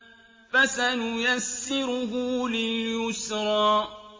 فَسَنُيَسِّرُهُ لِلْيُسْرَىٰ